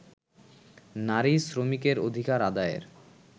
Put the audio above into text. নারী শ্রমিকের অধিকার আদায়ের